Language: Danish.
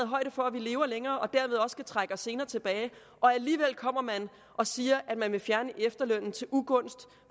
højde for at vi lever længere og dermed også kan trække os senere tilbage og alligevel kommer og siger at man vil fjerne efterlønnen til ugunst